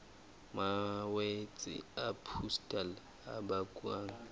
malwetse a pustule a bakwang